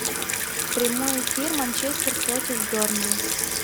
прямой эфир манчестер против бернли